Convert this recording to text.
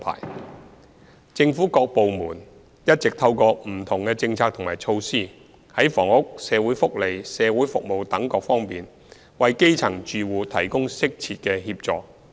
三政府各部門一直透過不同政策和措施，在房屋、社會福利及社區服務等各方面，為基層住戶提供適切協助。